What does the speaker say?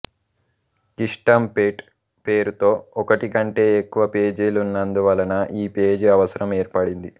కిస్టంపేట్ పేరుతో ఒకటి కంటే ఎక్కువ పేజీలున్నందువలన ఈ పేజీ అవసరం ఏర్పడింది